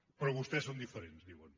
però vostès són diferents diuen